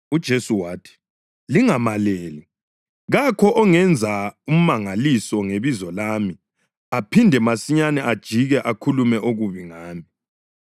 UJesu wathi, “Lingamaleli. Kakho ongenza umangaliso ngebizo lami aphinde masinyane ajike akhulume okubi ngami,